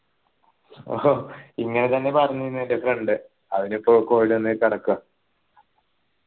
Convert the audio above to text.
ഇങ്ങനെത്തന്നെ പറഞ്ഞീന്നെ എൻ്റെ friend അവനിപ്പോ covid വണ് കിടക്ക